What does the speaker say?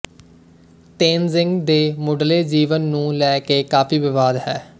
ਤੇਨਜ਼ਿੰਗ ਦੇ ਮੁੱਢਲੇ ਜੀਵਨ ਨੂੰ ਲੈ ਕੇ ਕਾਫੀ ਵਿਵਾਦ ਹੈ